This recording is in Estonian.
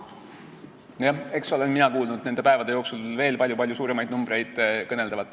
Mina olen nende päevade jooksul kuulnud kõneldavat veel palju-palju suurematest numbritest.